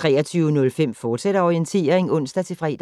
23:05: Orientering, fortsat (ons-fre)